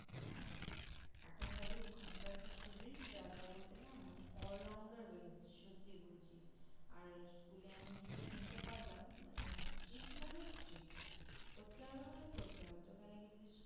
হ্যাঁ এখন খালি ওখানকার যে Student -রা তা বলতে না মানে allrounder বেরোচ্ছে ।সত্যি বলছি। আর School -এ আমি যেটা শুনতে পারলাম মানে ঠিক মানে ঠিক। পড়তে হবে মানে পড়তে হবে। তোকে নাকি যদি